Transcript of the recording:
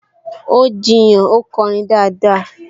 Ó jiyàn, 'ó kọrin dáadáa!